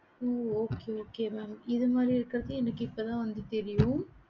ஹம் okay okay mam இது மாறி இருக்கறது இப்ப நீங்க சொல்லி தான் எனக்கு தெரியும்